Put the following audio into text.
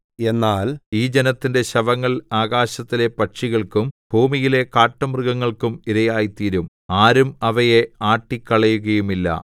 എന്നാൽ ഈ ജനത്തിന്റെ ശവങ്ങൾ ആകാശത്തിലെ പക്ഷികൾക്കും ഭൂമിയിലെ കാട്ടുമൃഗങ്ങൾക്കും ഇരയായിത്തീരും ആരും അവയെ ആട്ടിക്കളയുകയുമില്ല